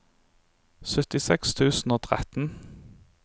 syttiseks tusen og tretten